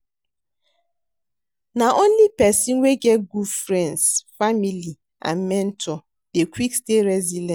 Na only pesin wey get good friends, family and mentor dey quick stay resilience.